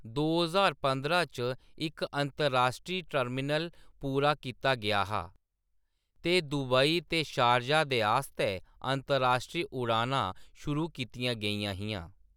दो ज्हार पंदरां च इक अंतर्राश्ट्री टर्मिनल पूरा कीता गेआ हा, ते दुबई ते शारजाह दे आस्तै अतर्राश्ट्री उड़ानां शुरू कीतियां गेइयां हियां।